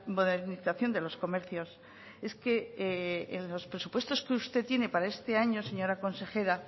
modernización de los comercios es que en los presupuestos que usted tiene para este año señora consejera